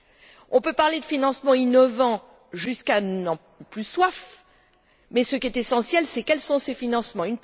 Nous pouvons parler de financements innovants jusqu'à plus soif, mais ce qui est essentiel, c'est quels sont ces financements?